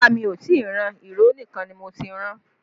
Rárá mi ò tí ì ran, ìró nìkan ni mo ti rán